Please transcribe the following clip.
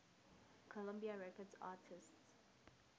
columbia records artists